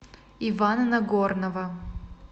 ивана нагорнова